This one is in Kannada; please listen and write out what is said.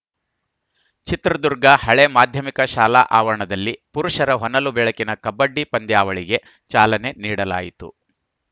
ಚಿತ್ರದುರ್ಗ ಹಳೆ ಮಾಧ್ಯಮಿಕ ಶಾಲಾ ಆವರಣದಲ್ಲಿ ಪುರುಷರ ಹೊನಲು ಬೆಳಕಿನ ಕಬಡ್ಡಿ ಪಂದ್ಯಾವಳಿಗೆ ಚಾಲನೆ ನೀಡಲಾಯಿತು